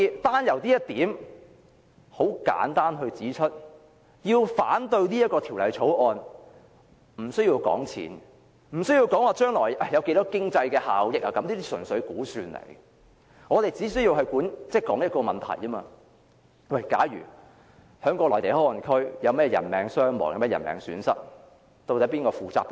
單就這一點而言，我可以很簡單地指出，反對《條例草案》不需要談金錢或將來有多少經濟效益，這些純粹是估算；我們只須討論一個問題：假如內地口岸區有人命傷亡或損失，究竟由誰負責？